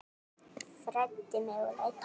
Fræddi mig og leiddi.